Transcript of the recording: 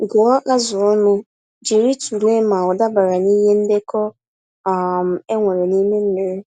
Gụọ azụ ọnụ jírí tụlee ma ọdabara n'ihe ndekọ um enwere n'ime mmiri.